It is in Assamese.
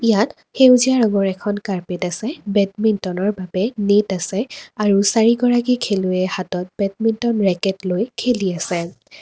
ইয়াত সেউজীয়া ৰঙৰ এখন কাৰ্পেট আছে বেডমিন্টনৰ বাৱে নেট আছে আৰু চাৰিগৰাকী খেলুৱৈয়ে হাতত বেডমিন্টন ৰেকেট লৈ খেলি আছে।